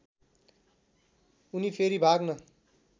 उनी फेरि भाग्न